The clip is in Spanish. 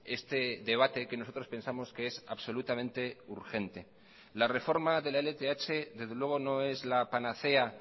este debate que nosotros pensamos que es absolutamente urgente la reforma de la lth desde luego no es la panacea